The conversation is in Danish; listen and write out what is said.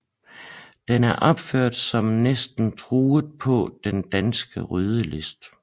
Den er opført som næsten truet på den danske rødliste